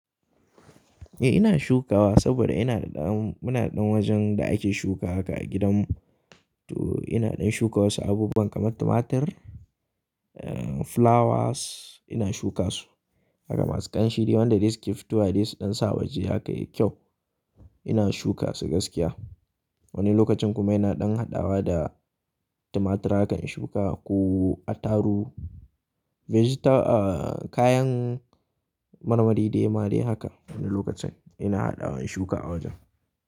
Eh ina shukawa saboda ina da ɗan, muna da ɗan wajen da ake shuka haka a gidanmu. To ina ɗan shukawa wasu abubuwan kamar tumatir, eh flowers ina shuka su. Haka masu kamshi dai wanda zai yi suke futowa dai su ɗan sa waje haka yayi kyau. Ina shuka su gaskiya. Wani lokacin kuma ina ɗan haɗawa da tumatur hakan in shuka ko attaru, vegeta, ah kayan marmari dai ma da haka. Wani lokacin ina haɗawa in shuka a wajen.